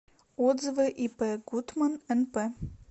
отзывы ип гутман нп